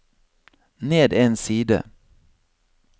ned en side